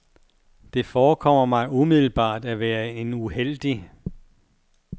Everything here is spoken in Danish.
Det forekommer mig umiddelbart at være en uheldig